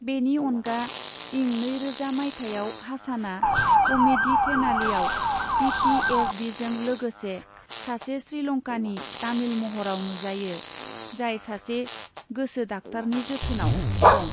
बिनि अनगा इं नैरोजा माइथाइयाव हासानआ क'मेडी थेनालीआव पी टी एस डीजों लोगोसे सासे श्रीलंकानि तामिल महराव नुजायो, जाय सासे गोसो डाक्टारनि जोथोनाव दं।